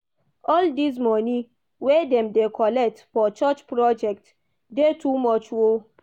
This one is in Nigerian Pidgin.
All dese moni wey dem dey collect for church project dey too much o.